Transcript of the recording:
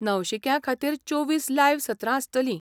नवशिक्यां खातीर चोवीस लायव्ह सत्रां आसतलीं.